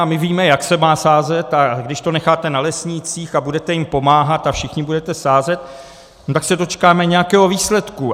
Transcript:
A my víme, jak se má sázet, a když to necháte na lesnících a budete jim pomáhat a všichni budete sázet, no tak se dočkáme nějakého výsledku.